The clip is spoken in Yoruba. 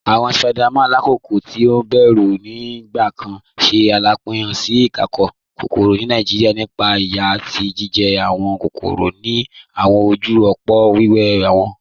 Awọn Spiders, lakoko ti o bẹru nigbakan, ṣe alabapin si iṣakoso kokoro ni Nigeria nípa iyà ati ijijẹ awọn kokoro ni awọn ojú òpó wẹẹbu wọn.